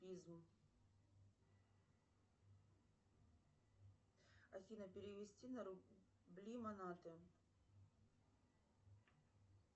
афина перевести на рубли монаты